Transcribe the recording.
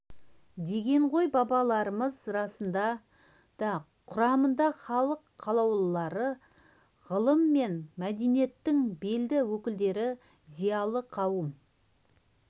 деген ғой бабаларымыз расында да құрамына халық қалаулылары ғылым мен мәдениеттің белді өкілдері зиялы қауым